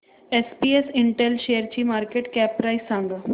SPS Intel शेअरची market cap price सांगा